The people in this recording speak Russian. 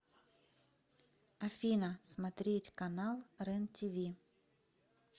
афина смотреть канал рен тиви